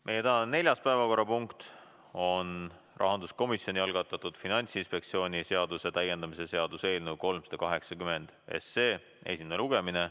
Meie tänane neljas päevakorrapunkt on rahanduskomisjoni algatatud Finantsinspektsiooni seaduse täiendamise seaduse eelnõu 380 esimene lugemine.